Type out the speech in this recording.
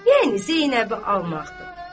Yəni Zeynəbi almaqdır.